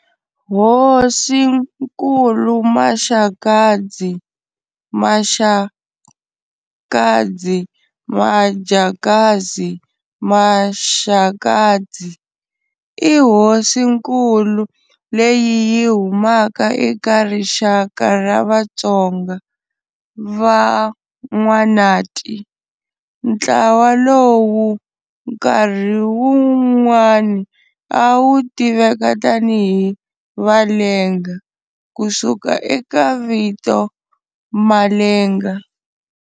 Hosinkulu Maxakadzi, Mashakadzi, Majakazi, Mashakatsi, i hosinkulu leyi yi humaka eka rixaka ra Vatsonga, Van'wanati. Ntlawa lowu nkarhi un'wani a wu tiveka tani hi valenga ku suka eka vito Malenga.